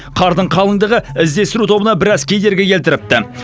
қардың қалыңдығы іздестеру тобына біраз кедергі келтіріпті